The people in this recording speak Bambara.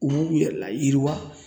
U b'u yɛrɛ layirwa